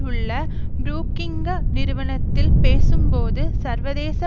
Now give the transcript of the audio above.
உள்ள புரூக்கிங்க நிறுவனத்தில் பேசும்போது சர்வதேச